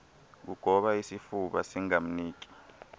kugoba isifuba singamniki